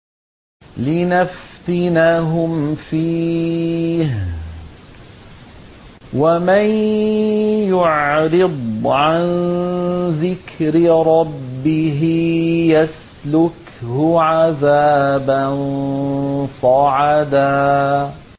لِّنَفْتِنَهُمْ فِيهِ ۚ وَمَن يُعْرِضْ عَن ذِكْرِ رَبِّهِ يَسْلُكْهُ عَذَابًا صَعَدًا